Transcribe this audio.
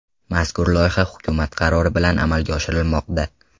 Mazkur loyiha hukumat qarori bilan amalga oshirilmoqda.